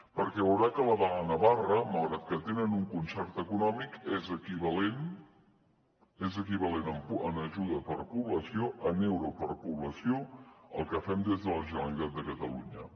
perquè veurà que la de navarra malgrat que tenen un concert econòmic és equivalent en ajuda per població en euro per població al que fem des de la generalitat de catalunya